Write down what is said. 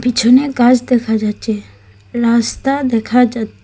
পিছনে গাস দেখা যাচ্চে রাস্তা দেখা যাচ--